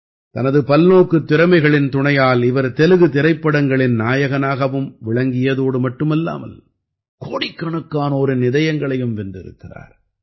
தனது பல்நோக்குத் திறமைகளின் துணையால் இவர் தெலுகு திரைப்படங்களின் நாயகனாகவும் விளங்கியதோடு மட்டுமல்லாமல் கோடிக்கணக்கானோரின் இதயங்களையும் வென்றிருக்கிறார்